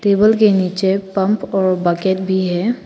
Table के नीचे pump और बकेट भी है।